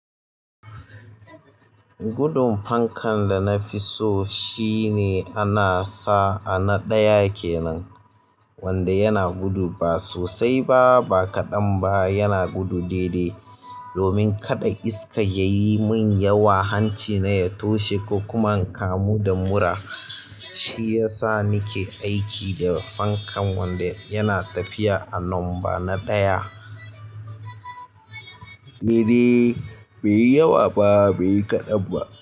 Gudun fankan da na fi so shine ana sa a na ɗaya kenan wanda yana gudu ba sosai ba ba kaɗan ba yana gudu daidai. Domin kada iska yayi min yawa hancina ya toshe ko kuma n kamu da mura. Shiyasa nike aiki da fankan wanda yana tafiya a number nadaya ni dai baiyi yawa ba baiyi kaɗan ba.